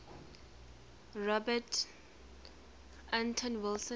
robert anton wilson